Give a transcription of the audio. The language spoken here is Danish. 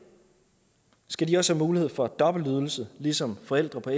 skal de også have mulighed for dobbeltydelse ligesom forældre på